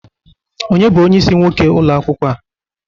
Onye bụ onyeisi nwoke ụlọ akwụkwọ a?